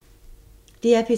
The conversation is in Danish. DR P3